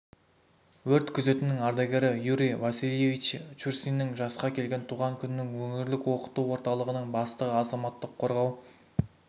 өрт күзетінің ардагері юрий васильевич чурсиннің жасқа келген туған күнін өңірлік оқыту орталығының бастығы азаматтық қорғау